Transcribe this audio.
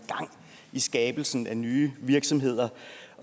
i skabelsen af nye virksomheder